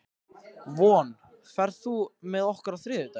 Von, ferð þú með okkur á þriðjudaginn?